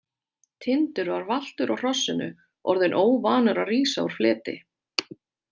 Tindur var valtur á hrossinu, orðinn óvanur að rísa úr fleti.